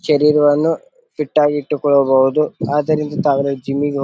ಶರೀರವನ್ನು ಫಿಟ್ ಆಗಿ ಇಟ್ಟುಕೊಳ್ಳಬಹುದು ಆದ್ದರಿಂದ ತಾವೆಲ್ಲ ಜಿಮ್ಮ ಇಗೆ ಹೊ--